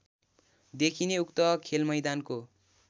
देखिने उक्त खेलमैदानको